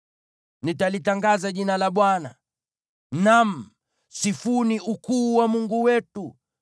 Nitalitangaza jina la Bwana . Naam, sifuni ukuu wa Mungu wetu!